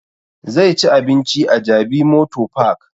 Zai ci abinci a jabi motor park